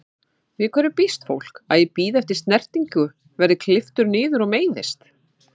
Við hverju býst fólk, að ég bíði eftir snertingu, verð klipptur niður og meiðist?